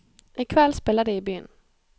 I kveld spiller de i byen.